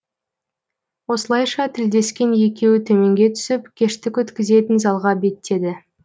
осылайша тілдескен екеуі төменге түсіп кештік өткізетін залға беттеді